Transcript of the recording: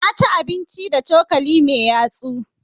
Na ci abinci da cokali mai yatsu.